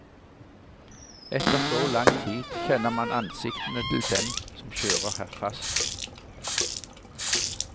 Etter så lang tid, kjenner man ansiktene til dem som kjører her fast.